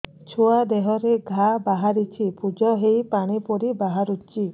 ଛୁଆ ଦେହରେ ଘା ବାହାରିଛି ପୁଜ ହେଇ ପାଣି ପରି ବାହାରୁଚି